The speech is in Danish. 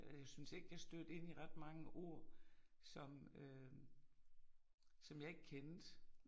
Øh jeg syntes ikke jeg stødte ind i ret mange ord, som øh som jeg ikke kendte